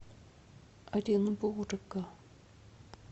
оренбурга